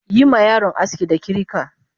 Yima yaron aski da kirika!